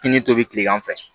I ni tobi kilegan fɛ